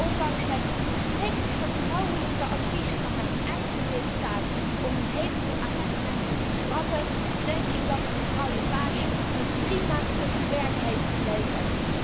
Ondanks het strikt vertrouwelijke advies van mijn eigen lidstaat om een heleboel amendementen te schrappen, denk ik dat mevrouw Lepage een prima stukje werk heeft geleverd.